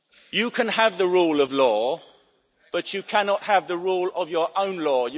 it. You can have the rule of law, but you cannot have the rule of your own